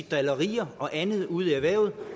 drillerier og andet ude i erhvervet